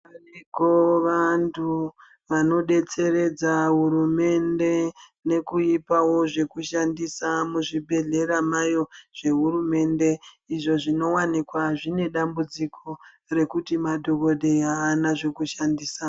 Variko vantu vanodetseredza hurumende nekuipawo zvekushandisa muzvibhehlera mayo zvehurumende izvo zvinowanikwa zvine dambudziko rekuti madhokodheya haana zvekushandisa.